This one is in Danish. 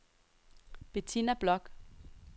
Bettina Bloch